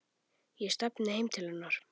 Ég stefni heim til hennar.